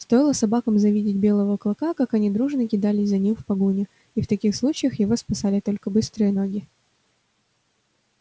стоило собакам завидеть белого клыка как они дружно кидались за ним в погоню и в таких случаях его спасали только быстрые ноги